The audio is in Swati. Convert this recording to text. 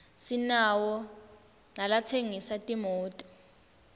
sinawo nalatsengisa timoto